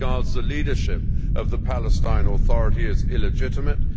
He regards the leadership of the Palestinian Authority as illegitimate